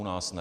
U nás ne.